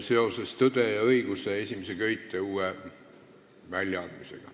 See üritus algab viis minutit pärast istungi lõppu.